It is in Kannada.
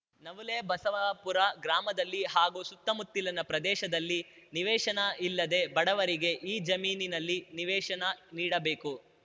ನವುಲೆ ಬಸವಾಪುರ ಗ್ರಾಮದಲ್ಲಿ ಹಾಗೂ ಸುತ್ತಮುತ್ತಲಿನ ಪ್ರದೇಶದಲ್ಲಿ ನಿವೇಶನ ಇಲ್ಲದೆ ಬಡವರಿಗೆ ಈ ಜಮೀನಿನಲ್ಲಿ ನಿವೇಶನ ನೀಡಬೇಕು